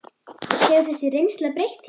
Hefur þessi reynsla breytt þér?